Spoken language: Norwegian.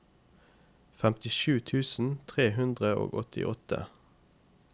femtisju tusen tre hundre og åttiåtte